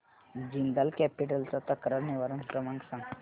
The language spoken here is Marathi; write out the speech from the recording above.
जिंदाल कॅपिटल चा तक्रार निवारण क्रमांक सांग